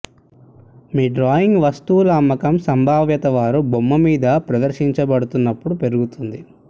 మీ drawing వస్తువుల అమ్మకం సంభావ్యత వారు బొమ్మ మీద ప్రదర్శించబడుతున్నప్పుడు పెరుగుతుంది